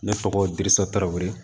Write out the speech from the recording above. Ne tɔgɔ diriso tarawe